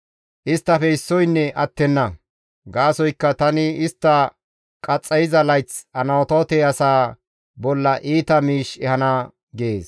isttafe issoynne attenna; gaasoykka tani istta qaxxayiza layth Anatoote asaa bolla iita miish ehana» gees.